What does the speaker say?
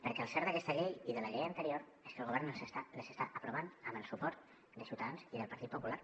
perquè el cert d’aquesta llei i de la llei anterior és que el govern les està aprovant amb el suport de ciutadans i del partit popular